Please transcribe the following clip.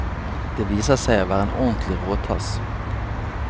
Det viser seg å være en ordentlig råtass.